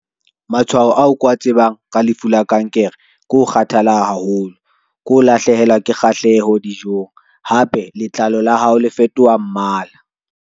Matshwao ao ke wa tsebang ka lefu la kankere, ko kgathala haholo, ke ho lahlehelwa ke kgahleho dijong. Hape letlalo la hao le fetoha mmala.